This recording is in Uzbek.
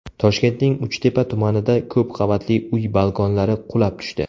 Toshkentning Uchtepa tumanida ko‘p qavatli uy balkonlari qulab tushdi.